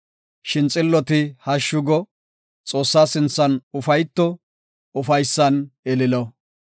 Shin xilloti hashshu go; Xoossaa sinthan ufayto; ufaysan ililo.